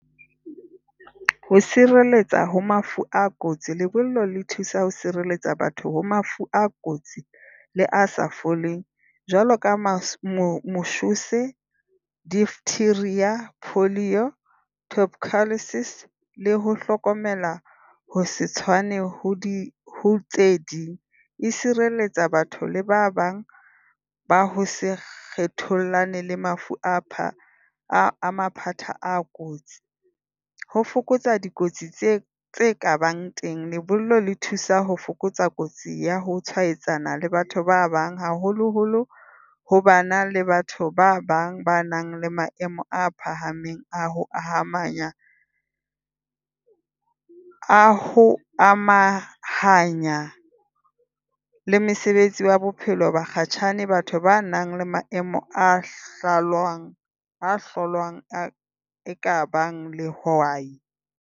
Ho sireletsa ho mafu a kotsi. Lebollo le thusa ho sireletsa batho ho mafu a kotsi le a sa foleng jwalo ka deteriorate portfolio , top courtesies . Le ho hlokomela ho se tshwane ho ho tse ding, e sireletsa batho le ba bang ba ho se kgethollane le mafu a a mathata a kotsi. Ho fokotsa dikotsi tse tse kabang teng. Lebollo le thusa ho fokotsa kotsi ya ho tshwaetsana le batho ba bang haholoholo ho bana le batho ba bang ba nang le maemo a phahameng a ho a ha a ho amahanya le mesebetsi wa bophelo bakgatjhane. Batho ba nang le maemo a hlalosang a hlolwang ka bang le why?